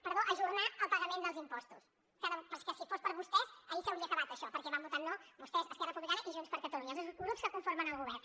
perdó ajornar el pagament dels impostos però és que si fos per vostès ahir s’hauria acabat això perquè van votar no vostès esquerra republicana i junts per catalunya els dos grups que conformen el govern